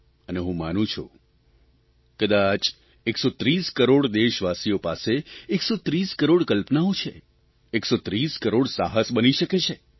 અને હું માનું છું કદાચ 130 કરોડ દેશવાસીઓ પાસે 130 કરોડ કલ્પનાઓ છે 130 કરોડ સાહસ બની શકે છે